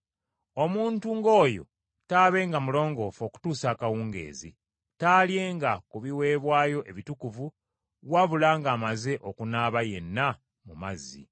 Omuntu ng’oyo taabenga mulongoofu okutuusa akawungeezi. Taalyenga ku biweebwayo ebitukuvu wabula ng’amaze okunaaba yenna mu mazzi.